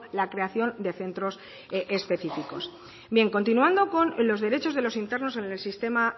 la creación de centros específicos continuando con los derechos de los internos en el sistema